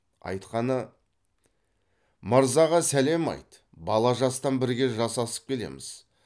айтқаны мырзаға сәлем айт бала жастан бірге жасасып келеміз